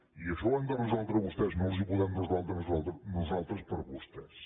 i això ho han de resoldre vostès no els ho podem resoldre nosaltres per vostès